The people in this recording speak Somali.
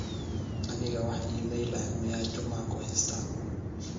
aniga wax iimayl ah miyaa juma kahaysta